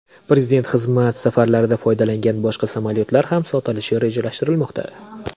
Prezident xizmat safarlarida foydalangan boshqa samolyotlar ham sotilishi rejalashtirilmoqda.